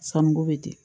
Sɔnniko bɛ di